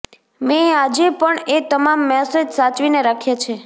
મેં આજે પણ એ તમામ મેસેજ સાચવીને રાખ્યા છે